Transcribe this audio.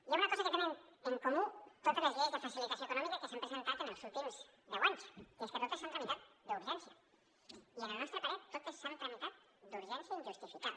hi ha una cosa que tenen en comú totes les lleis de facilitació econòmica que s’han presentat en els últims deu anys i és que totes s’han tramitat d’urgència i al nostre parer totes s’han tramitat d’urgència injustificada